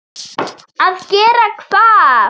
Að gera hvað?